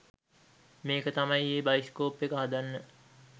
මේක තමයි ඒ බයිස්කොප් එක හදන්න